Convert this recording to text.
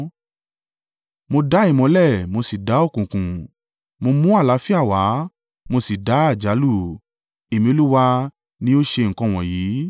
Mo dá ìmọ́lẹ̀, mo sì dá òkùnkùn, Mo mú àlàáfíà wá, Mo sì dá àjálù; Èmi Olúwa ni ó ṣe nǹkan wọ̀nyí.